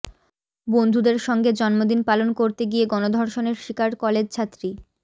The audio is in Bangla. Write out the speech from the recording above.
বন্ধুদের সঙ্গে জন্মদিন পালন করতে গিয়ে গণধর্ষণের শিকার কলেজছাত্রী